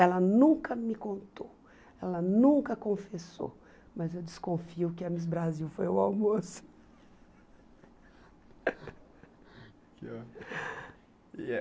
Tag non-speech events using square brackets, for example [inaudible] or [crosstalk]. Ela nunca me contou, ela nunca confessou, mas eu desconfio que a Miss Brasil foi o almoço. [laughs] E